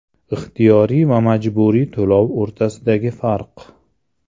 Ixtiyoriy va majburiy to‘lov o‘rtasidagi farq.